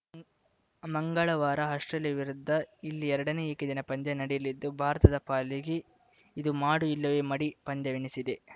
ಮಂಗಳವಾರ ಆಸ್ಪ್ರೇಲಿಯಾ ವಿರುದ್ಧ ಇಲ್ಲಿ ಎರಡನೇ ಏಕದಿನ ಪಂದ್ಯ ನಡೆಯಲಿದ್ದು ಭಾರತದ ಪಾಲಿಗೆ ಇದು ಮಾಡು ಇಲ್ಲವೇ ಮಡಿ ಪಂದ್ಯವೆನಿಸಿದೆ